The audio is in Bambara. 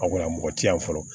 A kunna mɔgɔ ti yan fɔlɔ